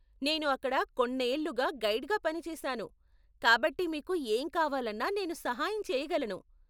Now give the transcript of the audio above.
నేను అక్కడ కొన్నేళ్లుగా గైడ్గా పని చేసాను కాబట్టి మీకు ఏం కావాలన్నా నేను సహాయం చేయగలను.